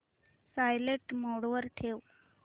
silent mode वर ठेव